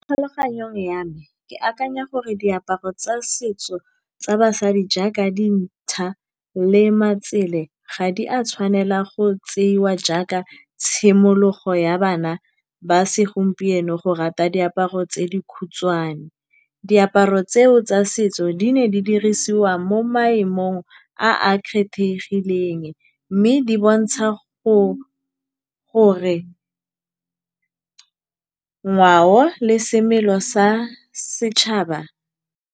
Tlhaloganyong ya me ke akanya gore diaparo tsa setso tsa basadi jaaka dinšha le matsele ga di a tshwanela go tseiwa jaaka tshimologo ya bana ba segompieno go rata diaparo tse di khutshwane. Diaparo tseo tsa setso di ne di dirisiwa mo maemong a a kgethegileng mme di bontsha gore ngwao le semelo sa setšhaba.